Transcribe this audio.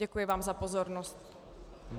Děkuji vám za pozornost.